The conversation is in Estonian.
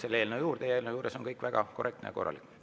Eelnõu juures on kõik väga korrektne ja korralik.